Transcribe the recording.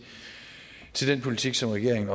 til den politik som regeringen